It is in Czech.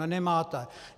Ne, nemáte.